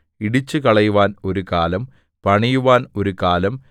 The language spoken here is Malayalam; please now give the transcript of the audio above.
ഇടിച്ചുകളയുവാൻ ഒരു കാലം പണിയുവാൻ ഒരു കാലം